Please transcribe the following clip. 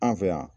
An fɛ yan